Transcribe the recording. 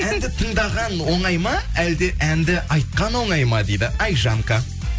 әнді тыңдаған оңай ма әлде әнді айтқан оңай ма дейді айжанка